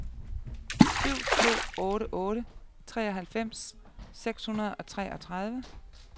syv to otte otte treoghalvfems seks hundrede og treogtredive